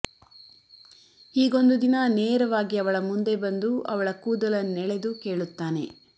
ಹೀಗೊಂದು ದಿನ ನೇರವಾಗಿ ಅವಳ ಮುಂದೆ ಬಂದು ಅವಳ ಕೂದಲನ್ನೆಳೆದು ಕೇಳುತ್ತಾನೆ